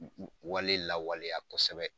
Wale lawaleya kɔsɛbɛ.